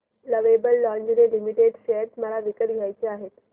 lovable lingerie limited share मला विकत घ्यायचे आहेत